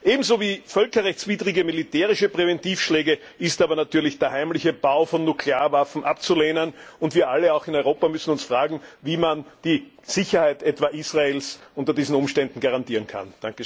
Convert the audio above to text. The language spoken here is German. Ebenso wie völkerrechtswidrige militärische Präventivschläge ist aber natürlich der heimliche Bau von Nuklearwaffen abzulehnen, und wir alle auch in Europa müssen uns fragen, wie man die Sicherheit etwa Israels unter diesen Umständen garantieren kann.